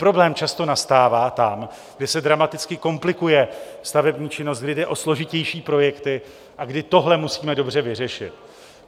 Problém často nastává tam, kde se dramaticky komplikuje stavební činnost, kdy jde o složitější projekty a kdy tohle musíme dobře vyřešit.